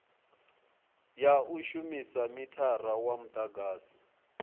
ya shumisa mithara wa mudagasi